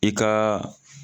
I kaaa.